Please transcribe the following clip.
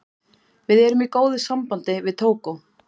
Við erum í góðu sambandi við Tógó.